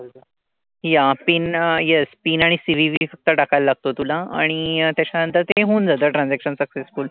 Yeah PIN yes PIN आणि CVV फक्त टाकायला लागतो तुला. आणि त्याच्या नंतर ते होऊन जातं transaction successful.